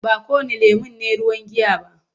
Ba kowanne lemon ne ruwan giya ba.